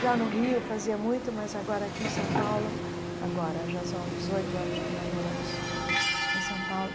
Já no Rio fazia muito, mas agora aqui em São Paulo, agora, já são dezoito anos que nós moramos hum em São Paulo,